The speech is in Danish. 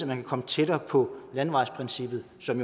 kan komme tættere på landevejsprincippet som